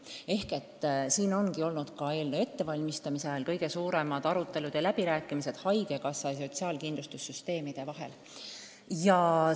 Sellel teemal ongi eelnõu ettevalmistamise ajal peetud kõige suuremad arutelud haigekassa ja sotsiaalkindlustussüsteemide haldajate vahel.